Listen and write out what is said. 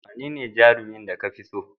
Wane jarumi ka fi so?